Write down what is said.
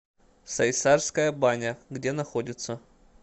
сайсарская баня где находится